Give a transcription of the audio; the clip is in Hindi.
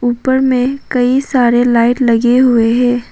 ऊपर में कई सारे लाइट लगे हुए हैं।